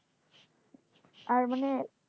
আর মানে,